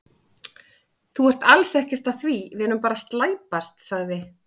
Þú ert alls ekkert að því, við erum bara að slæpast, sagði